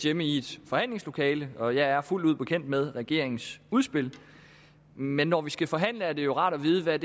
hjemme i et forhandlingslokale og jeg er fuldt ud bekendt med regeringens udspil men når vi skal forhandle er det jo rart at vide hvad